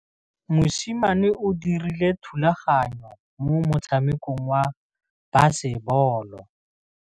Mosimane o dirile thubaganyô mo motshamekong wa basebôlô.